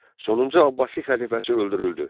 Sonuncu Abbasi xəlifəsi öldürüldü.